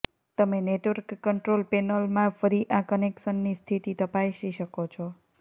તમે network control પેનલમાં ફરી આ કનેક્શનની સ્થિતિ તપાસી શકો છો